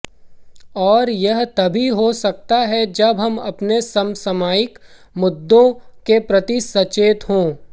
और यह तभी हो सकता है जब हम अपने समसामयिक मुद्दों के प्रति सचेत हों